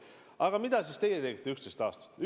Aga mida siis teie tegite 11 aastat?